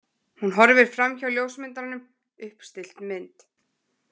Hún horfir framhjá ljósmyndaranum, uppstillt mynd.